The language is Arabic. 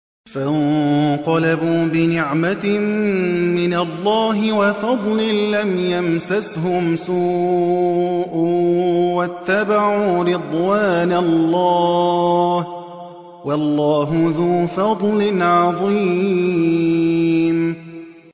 فَانقَلَبُوا بِنِعْمَةٍ مِّنَ اللَّهِ وَفَضْلٍ لَّمْ يَمْسَسْهُمْ سُوءٌ وَاتَّبَعُوا رِضْوَانَ اللَّهِ ۗ وَاللَّهُ ذُو فَضْلٍ عَظِيمٍ